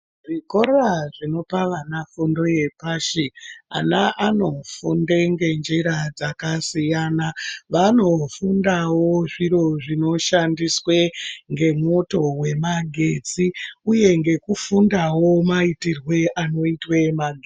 Zvikora zvinopa vana fundo yepashi ana anofunde ngenjira dzakasiyana vanofundawo zviro zvinoshandiswe ngemwoto wemagetsi uye ngekufundawo jaitirwe anoitwa magetsi.